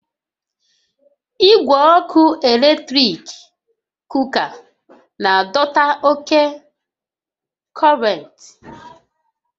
Igwe ọkụ eletrik kuka na-adọta oke kọntentị